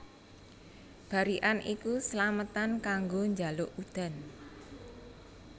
Barikan iku slametan kanggo njaluk udan